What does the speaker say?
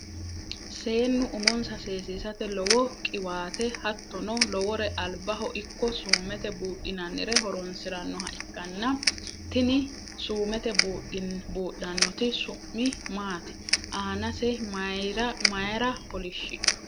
Seennu umonsa seesisate lowo qiwaate hattono lowore albaho ikko suumete buudhinannire horonsiranoha ikkana Tina suumete buudhanote su'mi maati? Aanase mayiira kolishidhu?